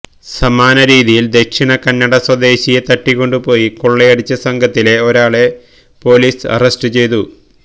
സമാനരീതിയിൽ ദക്ഷിണ കന്നട സ്വദേശിയെ തട്ടിക്കൊണ്ടുപോയി കൊള്ളയടിച്ച സംഘത്തിലെ ഒരാളെ പൊലീസ് അറസ്റ്റുചെയ്തു